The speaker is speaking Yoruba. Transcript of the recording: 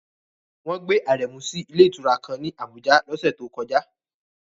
Wọ́n gbé Aremu sí ilé ìtura kan ní Abuja lọ́sẹ̀ tó kọjá